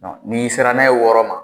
N'i sera n'a ye wɔɔrɔ ma